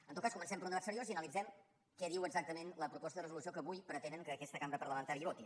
en tot cas comencem per un debat seriós i analitzem què diu exactament la proposta de resolució que avui pretenen que aquesta cambra parlamentària voti